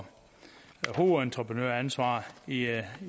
hovedentreprenøransvar i